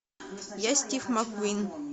я стив маккуин